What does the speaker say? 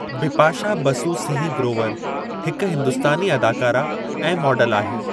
बिपाशा बसु सिंह ग्रोवर हिक हिंदुस्तानी अदाकारा ऐं मॉडल आहे।